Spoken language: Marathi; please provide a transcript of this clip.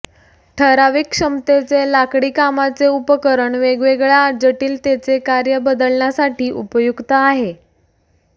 ठराविक क्षमतेचे लाकडीकामाचे उपकरण वेगवेगळ्या जटिलतेचे कार्य बदलण्यासाठी उपयुक्त आहे